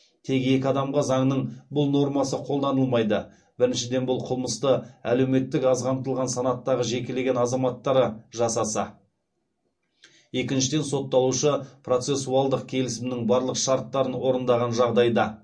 тек екі адамға заңның бұл нормасы қолданылмайды біріншіден бұл қылмысты әлеуметтік аз қамтылған санаттағы жекелеген азаматтары жасаса екіншіден сотталушы процессуалдық келісімнің барлық шарттарын орындаған жағдайда